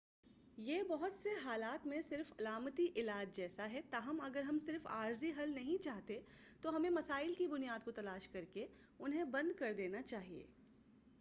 یہ بہت سے حالات میں صرف علامتی علاج جیسا ہے تاہم اگر ہم صرف عارضی حل نہیں چاہتے تو ہمیں مسائل کی بنیاد کو تلاش کرکے انہیں بند کر دینا چاہیے